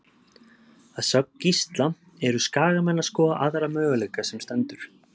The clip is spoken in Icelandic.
Að sögn Gísla eru Skagamenn að skoða aðra möguleika sem stendur.